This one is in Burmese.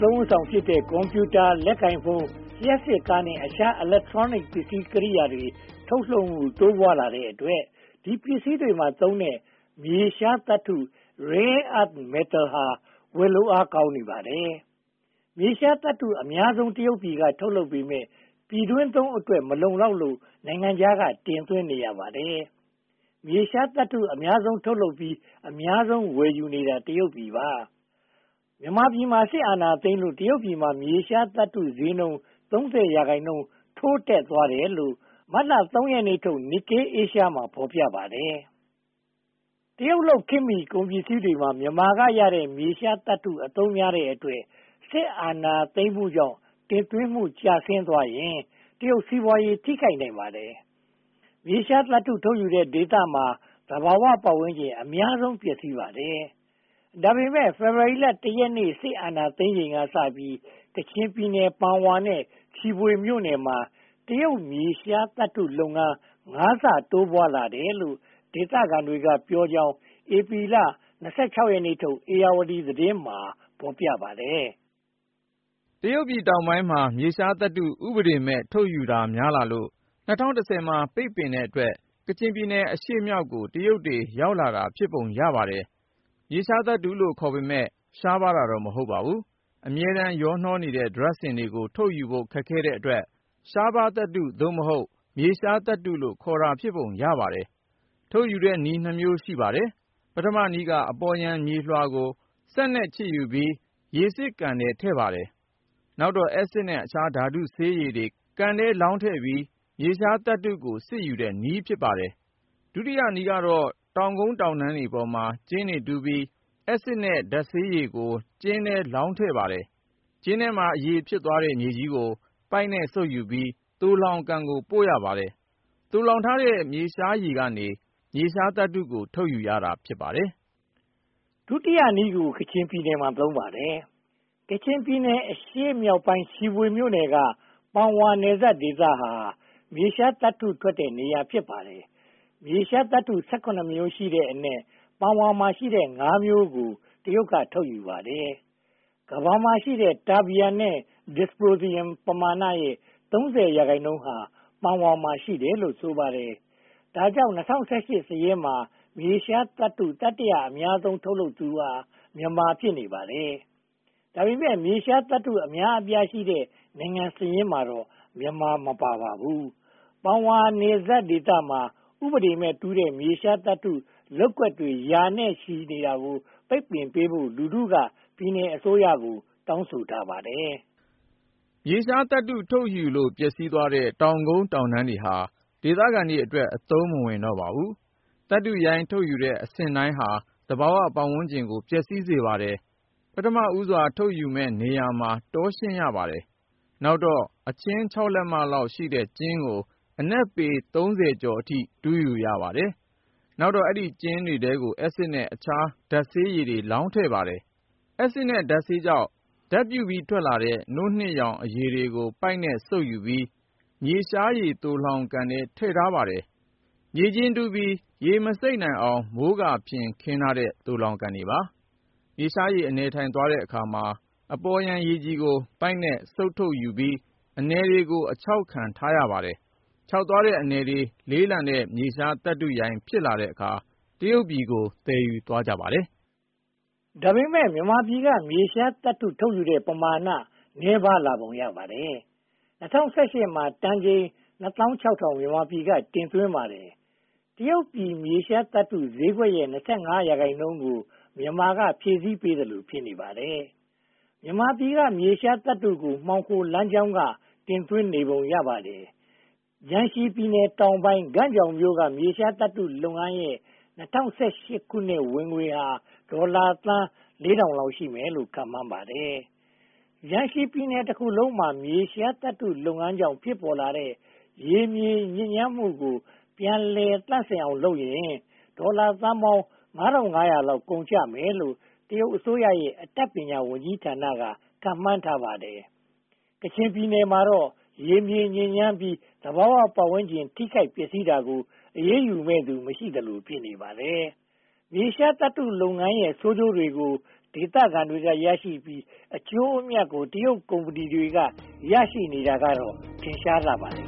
သုံးအဆောင်ဖြစ်တဲ့ ကွန်ပြူတာ၊ လက်ကိုင်ဖုန်း၊ လျှပ်စစ်ကားနဲ့ အခြား Electronics ပစ္စည်းကိရိယာ ထုတ်လုပ်မှု တိုးပွားလာတဲ့အတွက် ဒီပစ္စည်းတွေမှာသုံးတဲ့ မြေရှားသတ္တု Rare Earth Metal ဟာ ဝယ်လို့ကောင်းနေပါတယ်။ မြေရှားသတ္တုအများဆုံး တရုတ်က ထုတ်လုပ်ပေမယ့် ပြည်တွင်းသုံးအတွက် မလုံလောက်လို့ နိုင်ငံခြားက တင်သွင်းနေရပါတယ်။ မြေရှားသတ္တု အများဆုံးထုတ်လုပ်ပြီး အများဆုံး ဝယ်ယူနေတာ တရုတ်ပြည်ပါ။ မြန်မာပြည်မှာ စစ်အာဏာသိမ်းလို့ တရုတ်ပြည်မှာ မြေရှားသတ္တုဈေးနှုန်း (၃၀) ရာခိုင်နှုန်း ထိုးတက်သွားတယ်လို့ မတ်လ (၃) ရက်နေ့ထုတ် Nikkei Asia မှာ ဖော်ပြပါတယ်။ တရုတ်လုပ် ခေတ်မီကုန်ပစ္စည်းတွေမှာ မြန်မာကရတဲ့ မြေရှားသတ္တု အသုံးများတဲ့အတွက် စစ်အာဏာသိမ်းမှုကြောင့် တင်သွင်းမှုကျဆင်းသွားရင် တရုတ်စီးပွားရေး ထိခိုက်နိုင်ပါတယ်။ မြေရှားသတ္တု ထုတ်ယူတဲ့ဒေသမှာ သဘာဝပတ်ဝန်းကျင် အများဆုံးပျက်စီးပါတယ်။ ဒါပေမဲ့ ဖေဖေါ်ဝါရီလ (၁) ရက်နေ့ စစ်အာဏာသိမ်းချိန်ကစပြီး ကချင်ပြည်နယ် ပန်ဝါနဲ့ ချီဖွေမြို့နယ်မှာ တရုတ်မြေရှားသတ္တု လုပ်ငန်း (၅) ဆ တိုးပွားလာတယ်လို့ ဒေသခံတွေပြောကြောင်း ဧပြီလ (၂၆) ရက်ထုတ် ဧရာဝတီသတင်းမှာ ဖော်ပြပါတယ်။ တရုတ်ပြည်တောင်ပိုင်းမှာ မြေရှားသတ္တု ဥပဒေမဲ့ ထုတ်ယူတာများလာလို့ ၂၀၁၀ မှာ ပိတ်ပင်တဲ့အတွက် ကချင်ပြည်နယ်အရှေ့မြောက်ကို တရုတ်တွေ ရောက်လာတာ ဖြစ်ပုံရပါတယ်။ မြေရှားသတ္တုလို့ ခေါ်ပေမယ့် ရှားပါးတာတော့ မဟုတ်ပါဘူး။ အမြဲတမ်းရောနှောနေတဲ့ ဒြပ်စင်တွေကို ထုတ်ယူဖို့ ခက်ခဲတဲ့အတွက် ရှားပါးသတ္တု (သို့မဟုတ်) မြေရှားသတ္တုလို့ ခေါ်တာ ဖြစ်ပုံရပါတယ်။ ထုတ်ယူတဲ့နည်း (၂) မျိုး ရှိပါတယ်။ ပထမနည်းက အပေါ်ယံမြေလွှာကို စက်နဲ့ခြစ်ယူပြီး ရေစစ်ကန်ထဲ ထည့်ပါတယ်။ နောက်တော့ အက်စစ်နဲ့ အခြားဓာတုဆေးရည်တွေ ကန်ထဲလောင်းထဲပြီး မြေရှားသတ္တုကို စစ်ယူတဲ့နည်း ဖြစ်ပါတယ်။ ဒုတိယနည်းကတော့ တောင်ကုန်းတောင်တန်းပေါ်မှာ ကျင်းတွေတူးပြီး၊ အက်ဆစ်နဲ့ ဓါတ်ဆေးရည်ကို ကျင်းထဲလောင်းထည့်ပါတယ်။ ကျင်းထဲမှာ အရည်ဖြစ်သွားတဲ့ မြေကြီးကို ပိုက်နဲ့စုပ်ယူပြီး သိုလှောင်ကန်ကို ပို့ပါတယ်။ သိုလှောင်ထားတဲ့ မြေရှားရည်ကနေ မြေရှားသတ္တုကို ထုတ်ယူရတာ ဖြစ်ပါတယ်။ ဒုတိယနည်းကို ကချင်ပြည်နယ်မှာ သုံးပါတယ်။ ကချင်ပြည်နယ် အရှေ့မြောက်ပိုင်း ချီဖွေမြို့နယ်က ပန်ဝါနယ်စပ်ဒေသဟာ မြေရှားသတ္တုထွက်တဲ့နေရာ ဖြစ်ပါတယ်။ မြေရှားသတ္တု (၁၇) မျိုးရှိတဲ့အနက် ပန်ဝါမှာရှိတဲ့ (၅) မျိုးကို တရုတ်က ထုတ်ယူပါတယ်။ ကမ္ဘာမှာရှိတဲ့ Terbian နဲ့ Dysprosium ပမာဏရဲ့ (၃၀) ရာခိုင်နှုန်းဟာ ပန်ဝါမှာ ရှိတယ်လို့ ဆိုပါတယ်။ ဒါကြောင့် ၂၀၁၈ စာရင်းမှာ မြေရှားသတ္တု တတိယ အများဆုံးထုတ်လုပ်သူဟာ မြန်မာ ဖြစ်နေပါတယ်။ ဒါပေမဲ့ မြေရှားသတ္တု အများအပြားရှိတဲ့ နိုင်ငံစာရင်းမှာတော့ မြန်မာပြည် မပါပါဘူး။ ပန်ဝါနယ်စပ်ဒေသမှာ ဥပဒေမဲ့ တူးဖော်တဲ့ မြေရှားသတ္တု လုပ်ကွက်တွေ ရာနဲ့ချီ ရှိနေတာကို ပိတ်ပင်ပေးဖို့ လူထုက ပြည်နယ်အစိုးရကို တောင်းဆိုထားပါတယ်။ မြေရှားသတ္တု ထုတ်ယူလို့ ပျက်စီးသွားတဲ့ တောင်ကုန်းတောင်တန်းတွေဟာ ဒေသခံတွေအတွက် အသုံးမဝင်တော့ပါ။ သတ္တုရိုင်း ထုတ်ယူတဲ့အဆင့်တိုင်းဟာ သဘာဝပတ်ဝန်းကျင်ကို ပျက်စီးစေပါတယ်။ ပထမဦးစွာ ထုတ်ယူမယ့်နေရာမှာ တောရှင်းရပါတယ်။ နောက်တော့ အချင်း (၆) လက်မလောက်ရှိတဲ့ ကျင်းကို အနက်ပေ (၃၀) ကျော်အထိ တူးရပါတယ်။ နောက်တော့ အဲဒီကျင်းတွေထဲကို အက်ဆစ်နဲ့ အခြားဓါတ်ဆေးရည်တွေ လောင်းထည့်ပါတယ်။ အက်ဆစ်နဲ့ ဓါတ်ဆေးကြောင့် ဓါတ်ပြုပြီးထွက်လာတဲ့ နို့နှစ်ရောင်အရည်တွေကို ပိုက်နဲ့စုပ်ယူပြီး မြေရှားသိုလှောင်ကန်ထဲ ထည့်ထားပါတယ်။ မြေကျင်းတူးပြီး ရေမစိမ့်အောင် မိုးကာဖျင်ခင်းထားတဲ့ သိုလှောင်ကန်တွေပါ။ မြေရှားရည် အနည်းထိုင်သွားတဲ့အခါမှာ အပေါ်ယံရေကြည်ကို ပိုက်နဲ့စုပ်ထုတ်လိုက်ပြီး အနည်တွေကို အခြောက်ခံထားပါတယ်။ ခြောက်သွားတဲ့ အနည်တွေ လေးလံတဲ့ မြေရှားသတ္တုရိုင်း ဖြစ်လာတဲ့အခါ တရုတ်ပြည်ကို သယ်ယူသွားပါတယ်။ ဒါပေမဲ့ မြန်မာပြည်က မြေရှားသတ္တု ထုတ်ယူတဲ့ ပမာဏနည်းပါးလာပုံ ရပါတယ်။ ၂၀၁၈ မှာ တန်ချိန် (၂၆၀၀၀) မြန်မာပြည်က တင်သွင်းပါတယ်။ တရုတ်ပြည် မြေရှားသတ္တုဈေးကွက်နဲ့ (၂၅) ရာခိုင်နှုန်းကို မြန်မာက ဖြည့်ဆည်းပေးသလို ဖြစ်နေပါတယ်။ မြန်မာပြည်က မြေရှားသတ္တုကို မှောင်ခိုလမ်းကြောင်းက တင်သွင်းနေပုံ ရပါတယ်။ ဂျန်ရှီပြည်နယ်တောင်ပိုင်း ဂန့်ကြောင်မြို့က မြေရှားသတ္တုလုပ်ငန်းရဲ့ ၂၀၁၈ ခုနှစ်ဝင်ငွေဟာ ဒေါ်လာသန်း (၄၀၀၀) လောက် ရှိမယ်လို့ ခန့်မှန်းပါတယ်။ ဂျန်ရှီပြည်နယ်တခုလုံးမှာ မြေရှားသတ္တုလုပ်ငန်းကြောင့် ဖြစ်ပေါ်လာတဲ့ ရေမြေညစ်ညမ်းမှုကို ပြန်လည်သန့်စစ်အောင်လုပ်ရင် ဒေါ်လာသန်းပေါင်း (၅၅၀၀) လောက် ကုန်ကျမယ်လို့ တရုတ်အစိုးရရဲ့ အတတ်ပညာ ဝန်ကြီးဌာနက ခန့်မှန်းထားပါတယ်။ ကချင်ပြည်နယ်မှာတော့ ရေမြေညစ်ညမ်းပြီး သဘာဝပတ်ဝန်းကျင် ထိခိုက်ပျက်စီးတာကို အရေးယူမယ့်သူ မရှိသလို ဖြစ်နေပါတယ်။ မြေရှားသတ္တုလုပ်ငန်းရဲ့ ဆိုးကျိုးကို ဒေသခံတွေ ရရှိပြီး အကျိုးအမြတ်ကို တရုတ်ကုမ္ပဏီတွေ ရရှိနေတာ ထင်ရှားလှပါတယ်